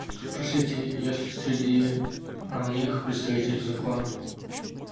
спросите есть ли среди них представители закона